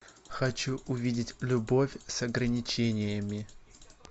хочу увидеть любовь с ограничениями